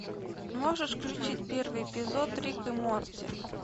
можешь включить первый эпизод рик и морти